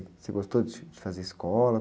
Você gostou de, de fazer escola?